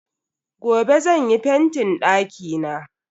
Gobe zan yi fentin dakina.